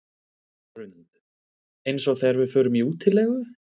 Hrund: Eins og þegar við förum í útilegu?